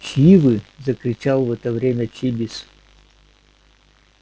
чьи вы закричал в это время чибис